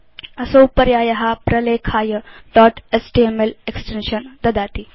असौ पर्याय प्रलेखाय दोत् एचटीएमएल एक्सटेन्शन् ददाति